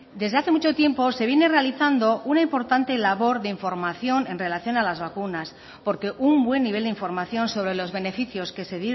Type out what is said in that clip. desde hace mucho tiempo se viene realizando una importante labor de información en relación a las vacunas porque un buen nivel de información sobre los beneficios que se